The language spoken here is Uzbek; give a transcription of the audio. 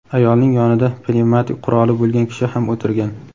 ayolning yonida pnevmatik quroli bo‘lgan kishi ham o‘tirgan.